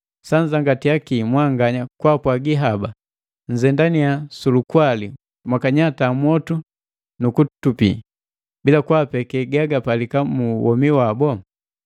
Sanzangatiya kii mwanganya kwaapwaagi haba: “Nnzendannya su lukwali mwakanyata mwotu nu kutupi,” bila kaapeke gagapalika mu womi wabu.